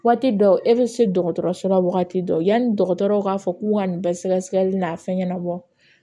Waati dɔ e bɛ se dɔgɔtɔrɔso la wagati dɔ yanni dɔgɔtɔrɔw k'a fɔ k'u ka nin bɛɛ sɛgɛsɛgɛli n'a fɛn ɲɛnabɔ